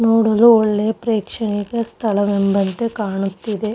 ನೋಡಲು ಒಳ್ಳೆಯ ಪ್ರೇಕ್ಷಣೀಯ ಸ್ಥಳವೆಂಬಂತೆ ಕಾಣುತ್ತಿದೆ.